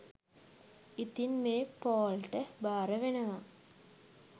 ඉතින් මේ පෝල් ට භාරවෙනවා